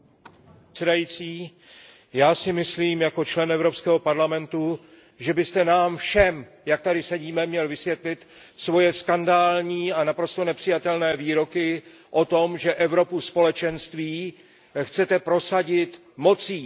Pane předsedající, já si myslím jako člen Evropského parlamentu, že byste nám všem, jak tady sedíme, měl vysvětlit svoje skandální a naprosto nepřijatelné výroky o tom, že Evropu Společenství chcete prosadit mocí.